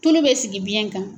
Tulu bɛ sigi biyɛn kan.